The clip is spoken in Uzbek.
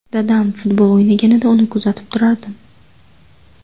Dadam futbol o‘ynaganida, uni kuzatib turardim.